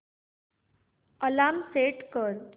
alarm set कर